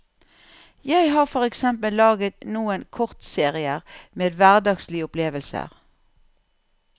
Jeg har for eksempel laget noen kortserier med hverdagslige opplevelser.